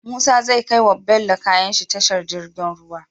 Musa zai kai wa bello kayanshi tashar girgin ruwa